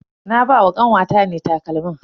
Na ba wa kanwata ne takalmin.